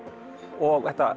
og